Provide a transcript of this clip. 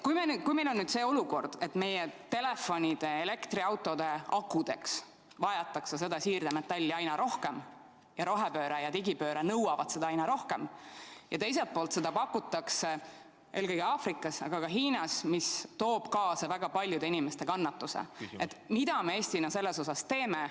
Kui meil on nüüd see olukord, et meie telefonide ja elektriautode akudeks vajatakse siirdemetalli aina rohkem, rohepööre ja digipööre nõuavad seda aina rohkem, ja teiselt poolt pakutakse seda eelkõige Aafrikas, aga ka Hiinas, mis toob kaasa väga paljude inimeste kannatuse, siis mida me Eestina teeme?